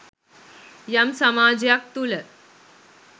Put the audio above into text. යම් සමාජයක් තුළ